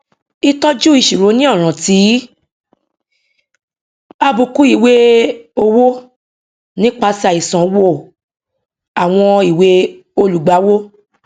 ìtọjú ìṣirò ní ọràn ti àbùkù ìwée owó nípasẹ àìsàn wó àwọn ìwée olùgbàwọ